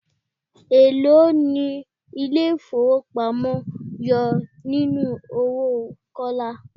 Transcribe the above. Elo ni ilé ifowopamo yọ nínú owó Kọ́lá?